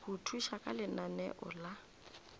go thuša ka lenaneo la